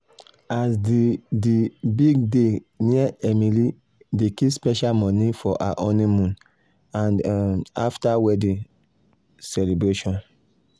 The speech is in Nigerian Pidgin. as di di big day near emily dey keep special money for her honeymoon and um after wedding um celebration.